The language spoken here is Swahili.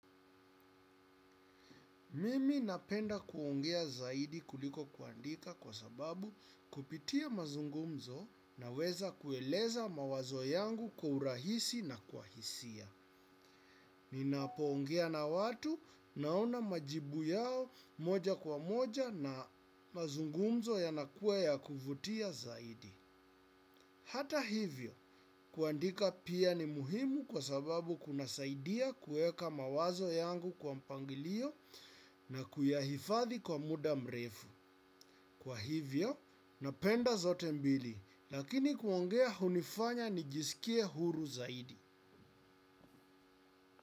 Mimi napenda kuongea zaidi kuliko kuandika kwa sababu kupitia mazungumzo naweza kueleza mawazo yangu kwa urahisi na kwa hisia. Ninapoongea na watu naona majibu yao moja kwa moja na mazungumzo yanakuwa ya kuvutia zaidi. Hata hivyo, kuandika pia ni muhimu kwa sababu kunasaidia kuweka mawazo yangu kwa mpangilio na kuyahifadhi kwa muda mrefu. Kwa hivyo, napenda zote mbili, lakini kuongea hunifanya nijisikie huru zaidi.